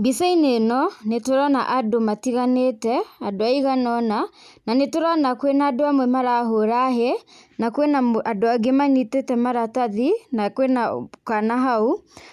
Mbica-inĩ ĩno nĩtũrona andũ matiganĩte, andũ aiganona na nĩtũrona kwĩna andũ amwe marahũra hĩĩ na kwĩna andũ angĩ manyitĩte maratathi na kwĩna kana hau,